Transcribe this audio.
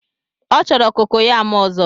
Ọ chọrọ kokoyam ozo